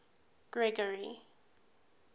gregory